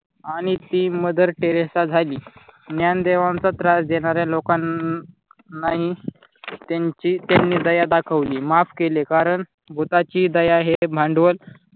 आणि ती mother Teresa झाली ज्ञानदेवांचा त्रास देणाऱ्या लोकांनाही त्यांची त्यांनी दया दाखवली, माफ केले कारण भुताची दया हे भांडवल.